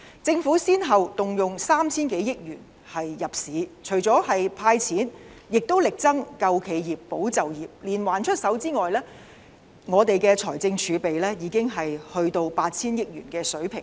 政府先後動用 3,000 多億元入市，除了"派錢"，也力爭"救企業，保就業"，連環出手之外，我們的財政儲備已經降至 8,000 億元的水平。